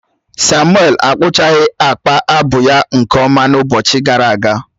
Samuel akpụchaghị akpa abu ya nke ọma n’ụbọchị gara aga